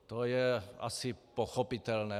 To je asi pochopitelné.